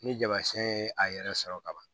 Ni jama siyɛn ye a yɛrɛ sɔrɔ ka ban